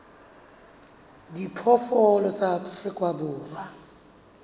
a diphoofolo tsa afrika borwa